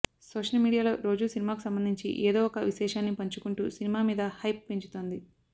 social మీడియాలో రోజూ సినిమాకు సంబంధించి ఏదో ఒక విశేషాన్ని పంచుకుంటూ సినిమా మీద హైప్ పెంచుతోంది